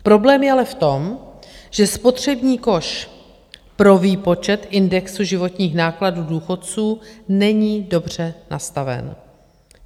Problém je ale v tom, že spotřební koš pro výpočet indexu životních nákladů důchodců není dobře nastaven.